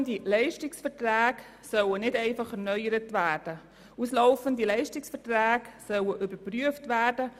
Auslaufende Leistungsverträge sollen nicht einfach erneuert, sondern überprüft werden.